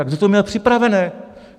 Ale kdo to měl připravené?